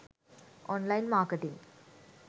online marketing